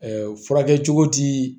furakɛ cogo ti